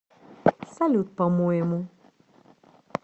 салют по моему